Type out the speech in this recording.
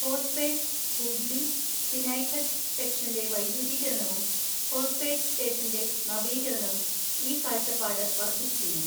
ഹോസ്പേട്ട് ഹൂബ്ലി തിനൈഘട്ട് സെക്ഷന്റെ വൈദ്യുതീകരണവും ഹോസ്പേട്ട് സ്റ്റേഷന്റെ നവീകരണവും ഈ കാഴ്ചപ്പാട് വർദ്ധിപ്പിക്കുന്നു.